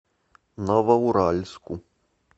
новоуральску